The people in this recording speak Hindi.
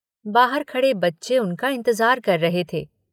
बाहर खड़े बच्चे उनका इंतज़ार कर रहे थे।